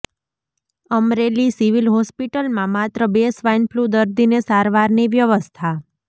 Amreli civil હોસ્પિટલમાં માત્ર બે સ્વાઈનફલૂ દર્દીને સારવારની વ્યવસ્થા